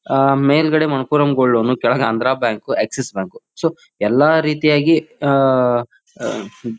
ಆಆಆ ಮೇಲ್ಗಡೆ Manappuram gold loan ಕೆಳಗ್ Andhra bank Axis bank so ಎಲ್ಲಾ ರೀತಿಯಾಗಿ ಆಆಆ ಆ ಹ್ಮ್ --